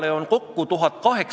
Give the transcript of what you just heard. Kas kultuurikomisjon arutas seda?